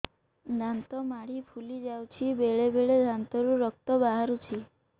ଦାନ୍ତ ମାଢ଼ି ଫୁଲି ଯାଉଛି ବେଳେବେଳେ ଦାନ୍ତରୁ ରକ୍ତ ବାହାରୁଛି